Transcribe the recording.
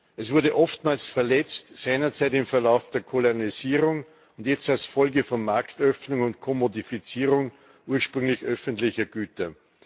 Es wurde oftmals verletzt, seinerzeit im Verlauf der Kolonialisierung, jetzt als Folge von Marktöffnung und Kommodifizierung ursprünglich öffentlicher Güter.